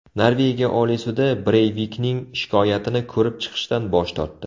Norvegiya Oliy sudi Breyvikning shikoyatini ko‘rib chiqishdan bosh tortdi.